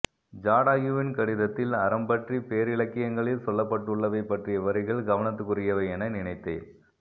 ஜடாயுவின் கடிதத்தில் அறம்பற்றிப் பேரிலக்கியங்களில் சொல்லப்பட்டுள்ளவை பற்றிய வரிகள் கவனத்துக்குரியவை என நினைத்தேன்